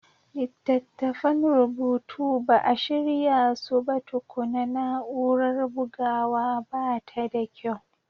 Littattafan rubutu ba a shirya su ba tukuna, na'urar bugawa ba ta da kyau.